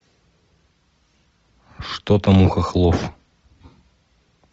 что там у хохлов